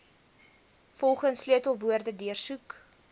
volgens sleutelwoorde deursoek